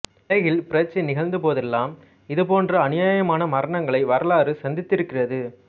உலகில் புரட்சி நிகழ்ந்தபோதெல்லாம் இதுபோன்ற அநியாயமான மரணங்களை வரலாறு சந்தித்திருக்கிறது